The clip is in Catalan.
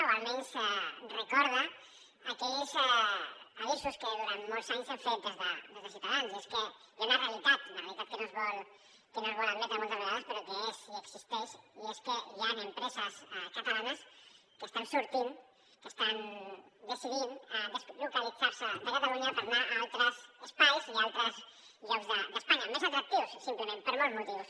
o almenys recorda aquells avisos que durant molts anys hem fet des de ciutadans i és que hi ha una realitat una realitat que no es vol admetre moltes vegades però que és i existeix i és que hi han empreses catalanes que estan sortint que estan decidint deslocalitzar se de catalunya per anar a altres espais i a altres llocs d’espanya més atractius simplement per molts motius